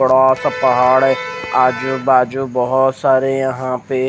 बसा सा पहाड़ है आजू बाजु बोहोत सरे यहा पे--